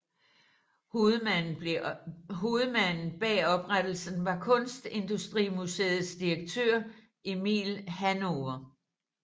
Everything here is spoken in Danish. Hovedmanden bag oprettelsen var Kunstindustrimuseets direktør Emil Hannover